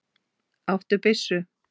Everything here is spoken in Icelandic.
Áttu byssu?